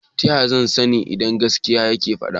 taya zan sani idan gaskiya yake fada?